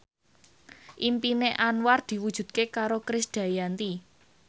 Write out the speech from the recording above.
impine Anwar diwujudke karo Krisdayanti